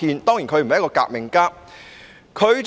當然，他不是一名革命家。